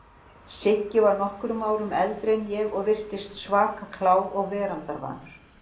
Siggi var nokkrum árum eldri en ég og virtist svaka klár og veraldarvanur.